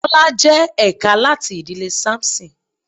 Tọ́lá jẹ́ ẹ̀ka láti ìdílé Samson.